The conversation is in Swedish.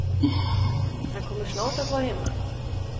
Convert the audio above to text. Han kommer snart att vara hemma.